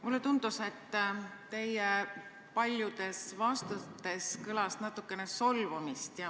Mulle tundus, et teie paljudes vastustes kõlas natukene solvumist.